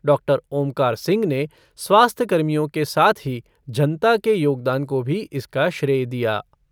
Doctor Omkar Singh ने स्वास्थ्य कर्मियों के साथ ही जनता के योगदान को भी इसका श्रेय दिया।